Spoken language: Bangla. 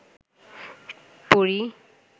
পড়ি